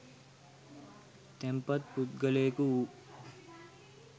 තැන්පත් පුද්ගලයකු වූ